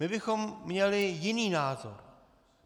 My bychom měli jiný názor.